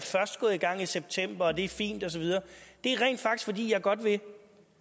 gået i gang i september og det er fint og så videre det er rent faktisk fordi jeg godt vil